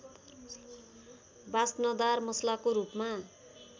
वास्नदार मसलाको रूपमा